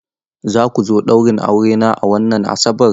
Za ku zo ɗaurin aurena a wannan Asabar?